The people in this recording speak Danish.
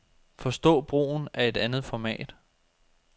Forstå brugen af et andet format.